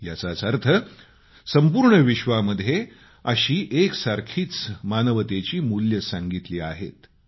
याचाच अर्थ संपूर्ण विश्वामध्ये अशी एकसारखीच मानवतेची मूल्ये सांगितली आहेत